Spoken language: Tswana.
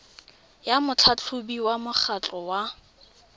ya motlhatlhobiwa wa mokgatlho wa